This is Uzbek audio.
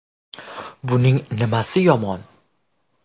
Buning nimasi yomon?